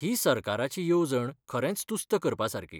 ही सरकाराची येवजण खरेंच तुस्त करपासारकी.